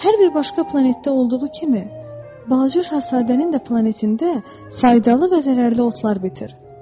Hər bir başqa planetdə olduğu kimi, Balaca Şahzadənin də planetində faydalı və zərərli otlar bitir.